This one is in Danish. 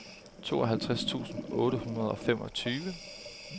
tooghalvtreds tusind otte hundrede og femogtyve